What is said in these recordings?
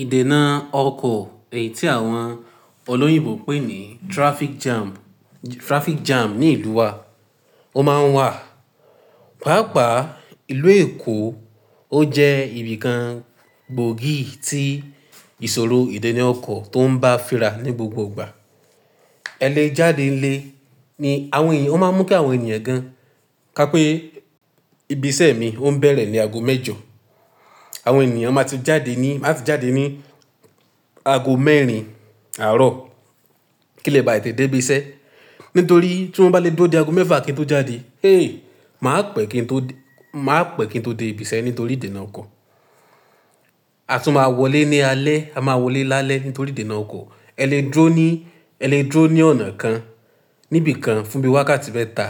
Ìdènà ọkọ̀, èyí tí àwọn olóyìnbo ń pè ní traffic jam, traffic jam ní ìlú wa, ó máa ń wà. Páápàá ìlú Èkó ó jẹ́ ibi kan gbòógì tí ìṣòro ìdènà ọkọ̀ tó ń bá fira ní gbogbo ìgbà. Ẹ̀ le jáde nílé ni àwọn èyí ó máa ń mú kí àwọn ènìyàn gan, ká pé ibi iṣẹ́ mi ó ń bẹ̀rẹ̀ ní ago méjọ, àwọn ènìyàn máa ti jáde ní, máa ti jáde ní ago mẹ́rin àárọ̀. Kí lè bá ì te dé ibi iṣẹ́? Nítorí tí wọ́n bá lè dúró di ago mẹ́fà kí wọ́n tó jáde, héy! Mà á pẹ́ kí n tó dé, mà á pẹ́ kí n tó dé ibi iṣẹ́ nítorí ìdènà ọkọ̀. A tún máa wọlé ní alẹ́, a máa wọlé lálẹ́ nítorí ìdènà ọkọ̀. Ẹ le dúró ní, ẹ le dúró ní ọ̀nà kan níbi kan fún bí wákàtí mẹ́ta.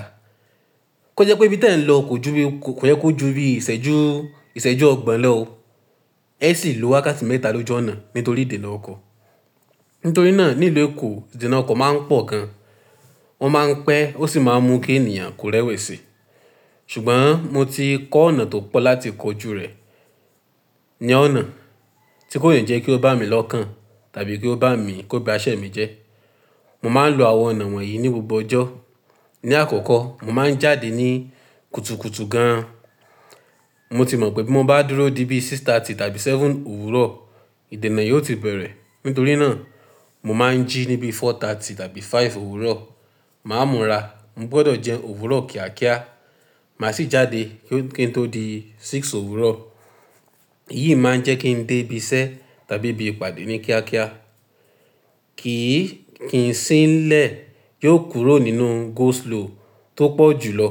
Kó jẹ́ pé ibi tí ẹ̀ ń lọ kò ju bí, kò yẹ kó ju bí ìsẹ́jú, ìsẹ́jú ọgbọ̀n lọ ó, ẹ sì lo wákàtí mẹ́ta ló jú ọ̀nà nítorí ìdènà ọkọ̀. Nítorí náà ní ìlú Èkó ìdènà ọkọ̀ máa ń pọ̀ gan. Wọ́n máa ń pẹ́, ó sì máa ń mú kí ènìyàn kó rẹ́wẹ̀sì. Ṣùgbọ́n mo ti kọ́ ọ̀nà tó pọ̀ láti kojú rẹ̀ ní ọ̀nà tí kò yé ń jẹ́ kí ó bá mi lọ́kàn tàbí kí ó bá mi, kó ba iṣẹ́ mi jẹ́. Mo máa ń lo àwọn ọ̀nà wọ̀nyí ní gbogbo ọjọ́. Ni àkọ́kọ́, mo máa ń jáde ní kùtùkùtù gan. Mo ti mọ̀ pé bí mo bá dúró di bí aago mẹ́fà ààbọ̀ tàbí aago méje òwúrọ̀, ìdènà yìí ó ti bẹ̀rẹ̀. Nítorí náà mo máa ń jí níbi aago mẹ́rin ààbọ̀ tàbí aago márùn-ún òwúrọ̀. Mà á múra, mo gbọdọ̀ jẹun òwúrọ̀ kíákíá, mà á sì jáde kí n tó di aago mẹ́fà òwúrọ̀. Èyí máa ń jẹ́ kí n dé ibi iṣẹ́ tàbí ibi ìpàdé ní kíákíá. Kì í, kì í sín lẹ̀, yóò kúrò nínú go slow tó pọ̀ jùlọ.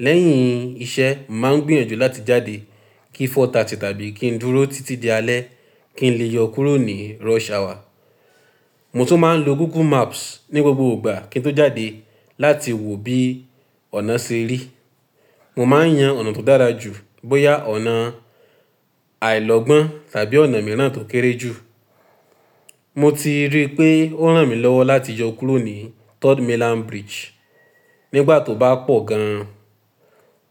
Lẹ́yìn iṣẹ́, mà á gbìyànjú láti jáde kí aago mẹ́rin ààbọ̀ tàbí kí n dúró títí di alẹ́ kí n lè yọ kúrò ní rush hour. Mo tún máa ń lo Google Maps ní gbogbo ìgbà kí n tó jáde láti wò bí ọ̀nà ṣe rí. Mo máa ń yan ọ̀nà tó dára jù bóyá ọ̀nà àìlọ́ gbọ́n tàbí ọ̀nà mìíràn tó kéré jù. Mo ti rí pé ó ràn mí lọ́wọ́ láti yọ kúrò ní Third Mainland Bridge nígbà tó bá pọ̀ gan.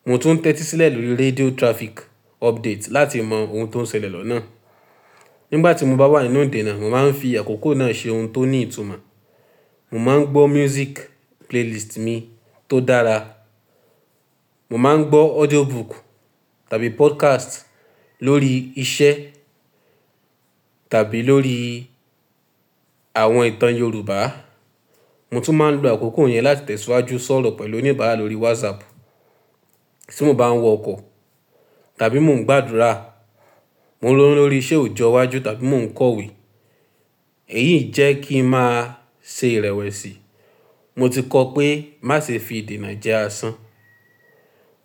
Mo tún tẹ́tí sílẹ̀ lórí radio traffic update láti mọ ohun tó ń ṣẹlẹ̀ lọ́nà. Nígbà tí mo bá wà nínú ìdènà, mo máa ń fi àkókò náà ṣe ohun tó ní ìtumọ̀. Mo máa ń gbọ́ music playlist mi tó dára. Mo máa ń gbọ́ audiobook tàbí podcast lórí iṣẹ́ tàbí lórí àwọn ìtàn Yorùbá. Mo tún máa ń lo àkókò yẹn láti tẹ̀síwájú sọ̀rọ̀ pẹ̀lú oníbàárà lórí WhatsApp. Tí mo bá ń wọ ọkọ̀ tàbí mò ń gbàdúrà, mo ń ronú lórí ìṣe òjò iwájú tàbí mò ń kọ̀wé. Èyí jẹ́ kí ń máa ṣe ìrẹ̀wẹ̀sì. Mo ti kọ́ pé má ṣe fi ìdènà jẹ́ asán.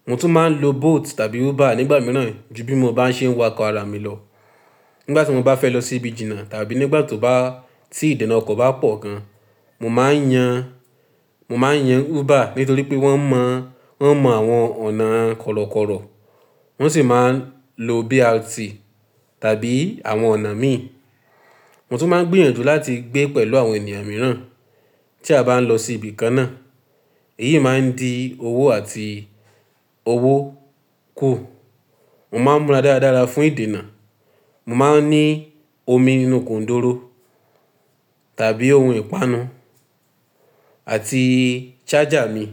Mo tún máa ń lo Bolt tàbí Uber nígbà mìíràn ju bí mo bá ṣe ń wọ ọkọ̀ ara mi lọ. Nígbà tí mo bá fẹ́ lọ sí ibi ìjìnnà tàbí nígbà tó bá, tí ìdènà ọkọ̀ bá pọ̀ gan, mo máa ń yan, mo máa ń yan Uber nítorí pé wọ́n mọ̀, wọ́n mọ àwọn ọ̀nà kọ̀rọ̀kọ̀rọ̀. Wọ́n sì máa ń lo BRT tàbí àwọn ọ̀nà mìí. Mo tún máa ń gbìyànjú láti gbé pẹ̀lú àwọn ènìyàn mìíràn tí a bá ń lọ sí ibi kan náà. Èyí máa ń di owó àti owó kù. Mo máa ń múra dára dára fún ìdènà. Mo máa ń ní omi nínú gùndúró tàbí ohun ìpanu àti charger mi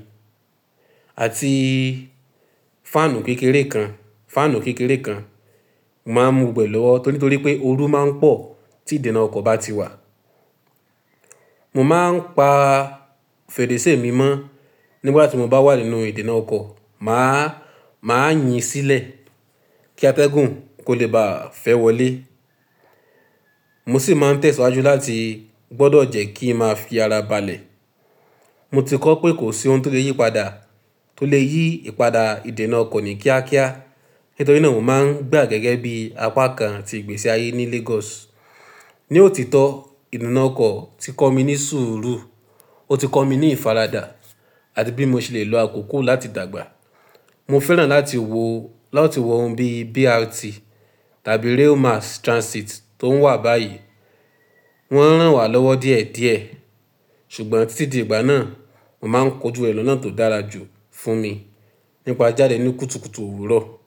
àti fáànù kékeré kan, fáànù kékeré kan. Mo máa ń mú bẹ̀ lọ́wọ́ nítorí pé orú máa ń pọ̀ tí ìdènà ọkọ̀ bá ti wà. Mo máa ń pa fèrèsé mi mọ́ nígbà tí mo bá wà nínú ìdènà ọkọ̀. Mà á, mà á yìn sílẹ̀ kí atẹ́gùn kó lè bá fẹ́ wọlé. Mo sì máa ń tẹ̀síwájú láti gbọdọ̀ jẹ́ kí ń máa fi ara balẹ̀. Mo ti kọ́ pé kò sí ohun tó lè yí padà, tó lè yí ìpadà ìdènà ọkọ̀ ní kíákíá. Nítorí náà o máa ń da á gẹ́gẹ́ bí apá kan tí ìgbésí ayé ní Lagos. Ni òtítọ́, ìdènà ọkọ̀ ti kọ́ mi ní sùúrù, ó ti kọ́ mi ní ìfaradà àti bí mo ṣe lè lo àkókò láti dàgbà. Mo fẹ́ràn láti wò, láti wọ ohun bí BRT tàbí Rail Mass Transit tó ń wà báyìí. Wọ́n ń ràn wá lọ́wọ́ díẹ̀ díẹ̀. Ṣùgbọ́n títí di ìgbà náà, mo máa ń kojú ẹ lọ́nà tó dára jù fún mi nípa jijáde ní kùtùkùtù òwúrọ̀.